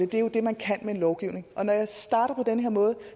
det er jo det man kan med en lovgivning når jeg starter på den her måde